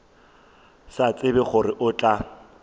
sa tsebe gore o tla